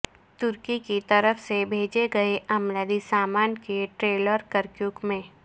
ترکی کیطرف سے بھیجے گئے امدادی سامان کے ٹریلر کرکیوک میں